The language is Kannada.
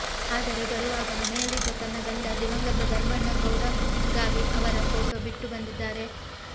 ಆದರೆ ಬರುವಾಗ ಮನೆಯಲ್ಲಿದ್ದ ತನ್ನ ಗಂಡ ದಿವಂಗತ ಧರ್ಮಣ್ಣ ಗೌಡಗಾವಿ ಅವರ ಫೋಟೋ ಬಿಟ್ಟು ಬಂದಿದ್ದಾರೆ